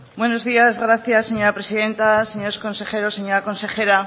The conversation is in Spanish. buenos días gracias señora presidenta señores consejeros señora consejera